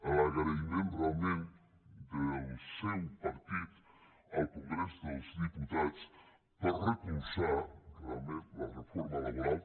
a l’agraïment realment del seu partit al congrés dels diputats per haver recolzat la reforma laboral